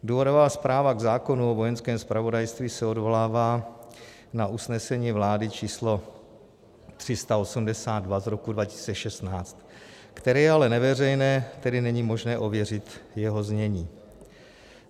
Důvodová zpráva k zákonu o Vojenském zpravodajství se odvolává na usnesení vlády č. 382 z roku 2016, které je ale neveřejné, tedy není možné ověřit jeho znění.